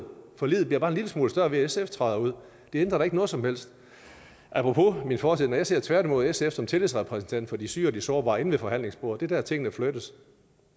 forliget bliver bare en lille smule større ved at sf træder ud det ændrer da ikke noget som helst apropos min fortid jeg ser tværtimod sf som tillidsrepræsentant for de syge og de sårbare inde ved forhandlingsbordet det er der tingene flyttes